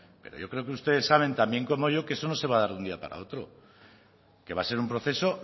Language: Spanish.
pero yo creo que ustedes saben también como yo que eso no se va a dar de un día para otro que va a ser un proceso